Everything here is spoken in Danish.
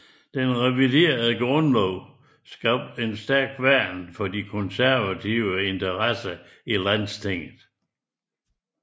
Den reviderede grundlov skabte et stærkt værn for de konservative interesser i Landstinget